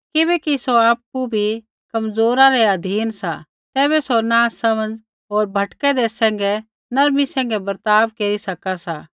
किबैकि सौ आपु बी कमज़ोरा रै अधीन सा तैबै सौ नासमझ होर भटकैंदै सैंघै नर्मी सैंघै बर्ताव केरी सका सा